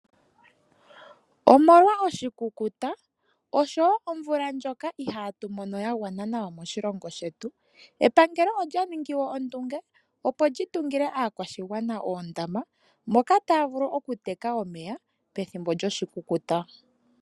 Omolwa oshikukuta nosho wo omvula ndjoka ihaatu mono ya gwana nawa moshilongo shetu, epangelo olya ningi ondunge, opo li tungile aakwashigwana oondama moka taya vulu okuteka omeya pethimbo lyoshikukuta.